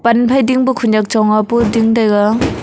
pan phai ding pu khunyak chong pu ding tai ga.